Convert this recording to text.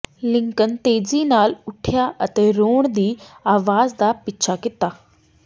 Lincoln ਤੇਜ਼ੀ ਨਾਲ ਉਠਿਆ ਅਤੇ ਰੋਣ ਦੀ ਆਵਾਜ਼ ਦਾ ਪਿਛਾ ਕੀਤਾ